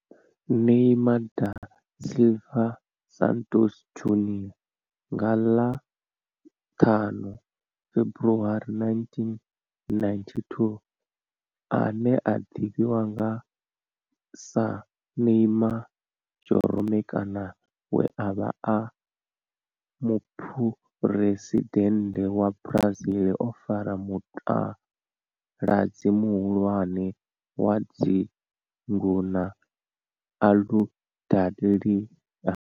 Neymar da Silva Santos Junior nga ḽa 5 February 1992 ane a ḓivhiwa sa Neymar Jeromme kana we a vha e muphuresidennde wa Brazil o fara mutaladzi muhulwane wa dzingu na Aludalelia.